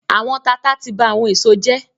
“Àwọn tata” ti ba àwọn èso jẹ́.